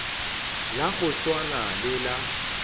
la go swana le la